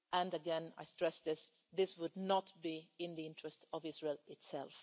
Again, I stress this this would not be in the interests of Israel itself.